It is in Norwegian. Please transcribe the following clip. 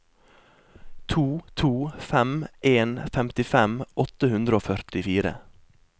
to to fem en femtifem åtte hundre og førtifire